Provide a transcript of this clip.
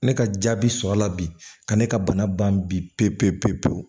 Ne ka jaabi sɔrɔla bi ka ne ka bana ban bi pewu-pewu-pewu-pewu